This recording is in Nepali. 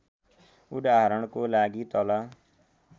उदाहरणको लागि तल